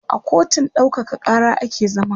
a kotun ɗaukaka Kara ake zaman